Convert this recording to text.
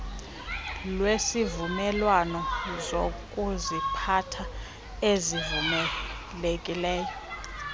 lwezivumelwano zokuziphatha ezivumelekileyo